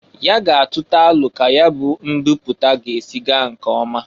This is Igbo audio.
Ya ga atụta alọ ka ya bụ mbipụta ga-esi gaa nke ọma.